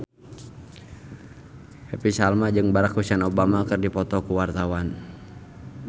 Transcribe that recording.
Happy Salma jeung Barack Hussein Obama keur dipoto ku wartawan